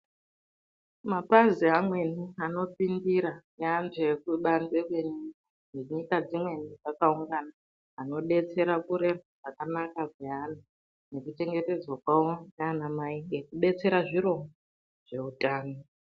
Mapazi amweni anopindira neantu ekubanzi kwenyika nenyika dzimweni dzakaungana anodetsera kurerwa kwakanaka kweana nekuchengetedzwa kwawo naanamai nekubetsera zviro zveutano.